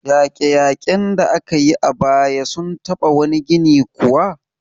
Yaƙe-yaƙen da aka yi a baya sun taɓa wani gini kuwa?